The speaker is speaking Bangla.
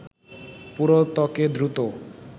পুরো ত্বকে দ্রুত